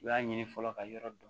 U y'a ɲini fɔlɔ ka yɔrɔ dɔn